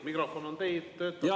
Mikrofon on teil, töötab, kõik.